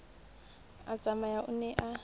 a tsamaya o ne a